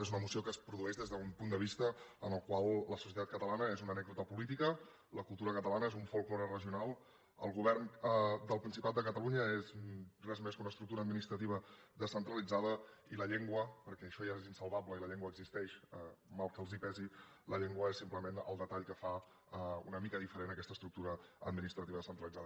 és una moció que es produeix des d’un punt de vista en el qual la societat catalana és una anècdota política la cultura catalana és un folklore regional el govern del principat de catalunya no és res més que una estructura administrativa descentralitzada i la llengua perquè això ja és insalvable i la llengua existeix mal que els pesi és simplement el detall que fa una mica diferent aquesta estructura administrativa descentralitzada